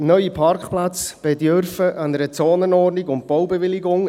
Neue Parkplätze bedürfen einer Zonenordnung und Baubewilligung.